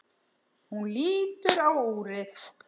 Hún lítur á úrið.